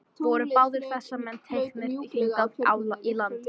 Voru báðir þessir menn teknir hingað í land.